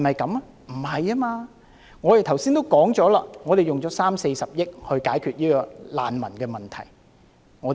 並非如此，我剛才也說了，政府用了三四十億元來解決難民的問題。